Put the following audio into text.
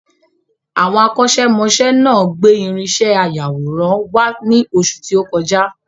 Àwọn akọ́ṣẹ́ mọṣẹ́ náà gbé irinṣẹ́ ayàwòrán wá ní oṣù tí o kọjá